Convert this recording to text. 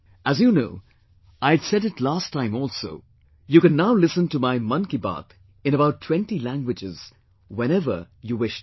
As you know and I had said it last time also, you can now listen to my Mann Ki Baat in about 20 languages whenever you wish to